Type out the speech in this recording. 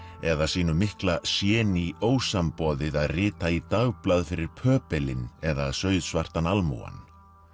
eða sínu mikla séní ósamboðið að rita í dagblað fyrir eða sauðsvartan almúgann